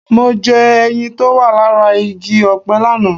Mo jẹ ẹyin tó wà lára igi ọ̀pẹ lánàá